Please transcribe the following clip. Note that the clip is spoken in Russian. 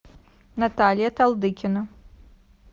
наталья талдыкина